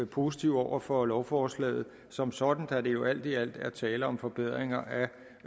positive over for lovforslaget som sådan da der jo alt i alt er tale om forbedringer